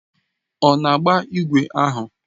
Ọ na-agba ígwè ahụ?